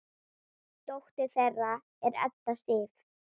Dóttir þeirra er Edda Sif.